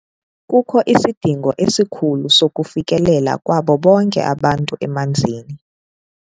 Kukho isidingo esikhulu sokufikelela kwabo bonke abantu emanzini.